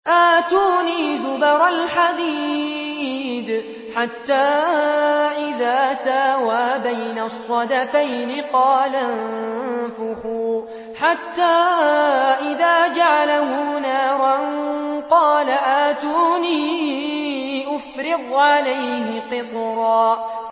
آتُونِي زُبَرَ الْحَدِيدِ ۖ حَتَّىٰ إِذَا سَاوَىٰ بَيْنَ الصَّدَفَيْنِ قَالَ انفُخُوا ۖ حَتَّىٰ إِذَا جَعَلَهُ نَارًا قَالَ آتُونِي أُفْرِغْ عَلَيْهِ قِطْرًا